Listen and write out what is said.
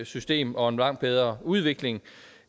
system og en langt bedre udvikling